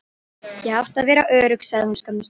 Ég átti að vera örugg, sagði hún skömmustulega.